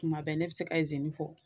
Kuma bɛɛ ne bɛ se ka izini fɔ